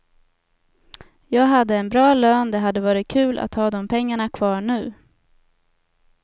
Jag hade en bra lön, det hade varit kul att ha de pengarna kvar nu.